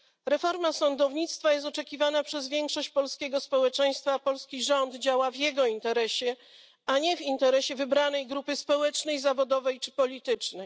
Reforma sądownictwa jest oczekiwana przez większość polskiego społeczeństwa, a polski rząd działa w jego interesie, a nie w interesie wybranej grupy społecznej, zawodowej czy politycznej.